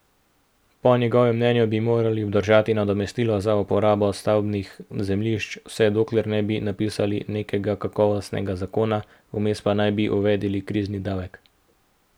Po njegovem mnenju bi morali obdržati nadomestilo za uporabo stavbnih zemljišč, vse dokler ne bi napisali nekega kakovostnega zakona, vmes pa naj bi uvedli krizni davek.